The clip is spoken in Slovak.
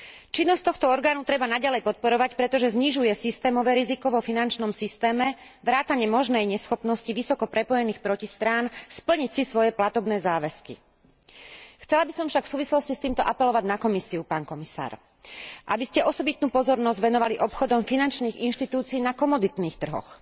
Činnosť tohto orgánu treba naďalej podporovať, pretože znižuje systémové riziko vo finančnom systéme vrátane možnej neschopnosti vysoko prepojených protistrán splniť si svoje platobné záväzky. Chcela by som však v súvislosti s týmto apelovať na Komisiu, pán komisár, aby ste osobitnú pozornosť venovali obchodom finančných inštitúcií na komoditných trhoch.